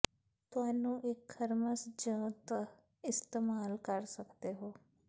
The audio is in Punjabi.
ਤੁਹਾਨੂੰ ਇੱਕ ਥਰਮਸ ਜ ਦਹ ਇਸਤੇਮਾਲ ਕਰ ਸਕਦੇ ਹੋ